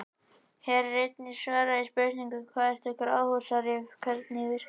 Hér er einnig svarað spurningunum: Hvað eru gróðurhúsaáhrif og hvernig virka þau?